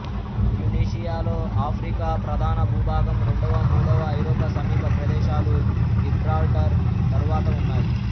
ట్యునీషియాలో Africa ప్రధాన భూభాగం రెండవ మూడవ ఐరోపా సమీప ప్రదేశాలు గిబ్రాల్టర్ తరువాత ఉన్నాయి